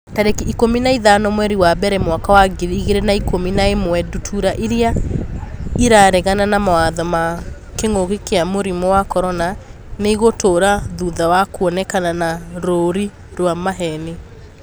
Tarĩki ikũmi na ithano mweri wa mbere mwaka wa ngiri igĩrĩ na ikũmi na ĩmwe Ndutura irĩa 'ĩraregana na mawatho ma kĩngũki kia mũrimũ wa CORONA nĩ ĩgũtũra thutha wa kuonekana na rũũri rwa maheeni.